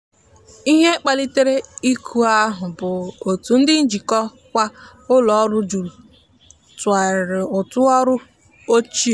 ihe kpalitere iku ahu bụ otụ ndi njikwa ụlọ ọrụ jụrụ tughari ụtụ ọrụ ochie.